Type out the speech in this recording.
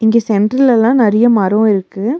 இங்க சென்டர்லெல்லா நெறைய மரரோ இருக்கு.